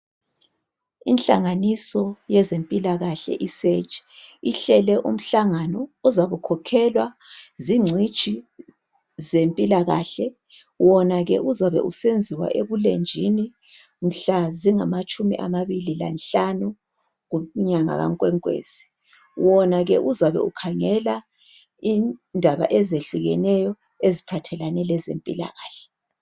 Inhlanganiso yezempilakahle, iSurg, ihlele umhlangano ozabe ukhokhelwa zingcitshi zempilakahle. Wona ke uzabe usenziwa ebulenjini. Mhla zingamatshumi amabili lanhlanu, kunyanga kaNkwenkwezi. Wona ke uzabe ukhangela indaba ezehlukeneyo, eziphathelane lezempilakahle.